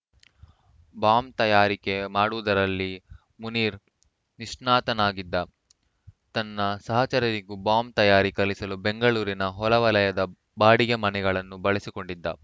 bomb ತಯಾರಿಕೆ ಮಾಡುವುದರಲ್ಲಿ ಮುನೀರ್‌ ನಿಷ್ಣಾತನಾಗಿದ್ದ ತನ್ನ ಸಹಚರರಿಗೂ ಬಾಂಬ್‌ ತಯಾರಿ ಕಲಿಸಲು ಬೆಂಗಳೂರಿನ ಹೊರವಲಯದ ಬಾಡಿಗೆ ಮನೆಗಳನ್ನು ಬಳಸಿಕೊಂಡಿದ್ದ